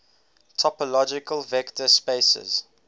topological vector spaces